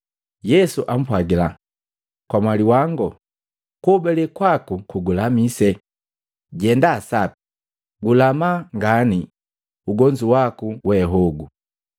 Yesu ampwagila, “Kamwali wangu kuhobalee kwaku kugulamise. Jenda sapi, gulama ngane ugonzu waku we hogo.”